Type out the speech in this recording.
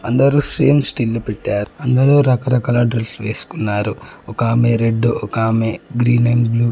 అందరు same still పెట్టారు అందరు రకరకాల డ్రెస్లు వేసుకున్నారు ఒకామే రెడ్ ఒకామే గ్రీన్ అండ్ బ్లూ --